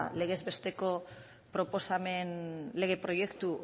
legez besteko proposamen lege proiektu